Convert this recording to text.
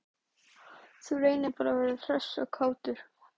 Þú reynir bara að vera hress og kátur!